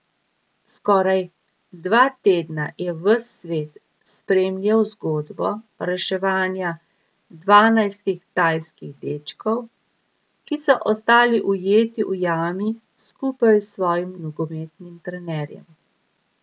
Skoraj dva tedna je ves svet spremljal zgodbo reševanja dvanajstih tajskih dečkov, ki so ostali ujeti v jami skupaj s svojim nogometnim trenerjem.